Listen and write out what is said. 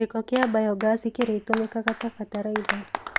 gĩko kĩa mbayogasi kĩrĩgĩtũmĩkaga ta bataraitha.